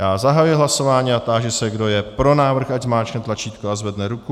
Já zahajuji hlasování a táži se, kdo je pro návrh, ať zmáčkne tlačítko a zvedne ruku.